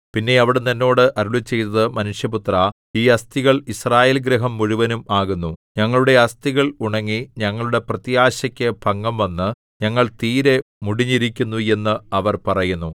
പിന്നെ അവിടുന്ന് എന്നോട് അരുളിച്ചെയ്തത് മനുഷ്യപുത്രാ ഈ അസ്ഥികൾ യിസ്രായേൽഗൃഹം മുഴുവനും ആകുന്നു ഞങ്ങളുടെ അസ്ഥികൾ ഉണങ്ങി ഞങ്ങളുടെ പ്രത്യാശക്കു ഭംഗം വന്ന് ഞങ്ങൾ തീരെ മുടിഞ്ഞിരിക്കുന്നു എന്ന് അവർ പറയുന്നു